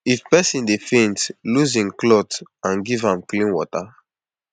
if person dey faint loose hin cloth and give am small clean water